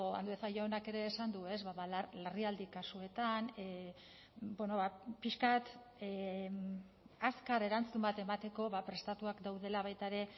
andueza jaunak ere esan du larrialdi kasuetan bueno ba pixka bat azkar erantzun bat emateko prestatuak daudela baita ere